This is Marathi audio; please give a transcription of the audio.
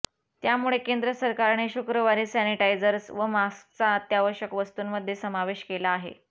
त्यामुळे केंद्र सरकारने शुक्रवारी सॅनिटायझर्स व मास्कचा अत्यावश्यक वस्तूंमध्ये समावेश केला आहे